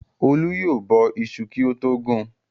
Olú yóò bọ iṣu kí ó tó gun.